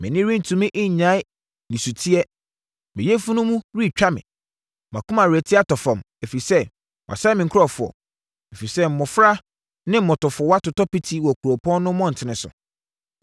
Mʼani rentumi nnyae nisuteɛ, me yafunu mu retwa me, mʼakoma rete atɔ fam, ɛfiri sɛ wɔasɛe me nkurɔfoɔ, ɛfiri sɛ mmɔfra ne mmotafowa totɔ piti wɔ kuropɔn no mmɔntene so.